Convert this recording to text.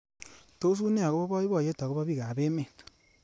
Tos une akobo boiboyet akobo bik ab emet.